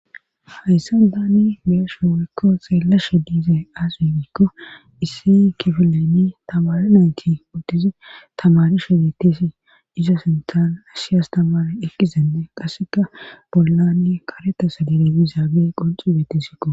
Hayssa daanni beyeshe wurikko xeellashe diize aasigikko issi kifileni tamari nayti uddizi tamari shodetesi izo sintana ashiyas tamar ekizende qasseka bollanni kareta sadiley izaabe qonci beetesikko